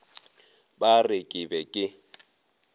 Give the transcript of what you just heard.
ba re ke be ke